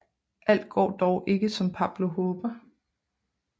Alt går dog ikke som Pablo håber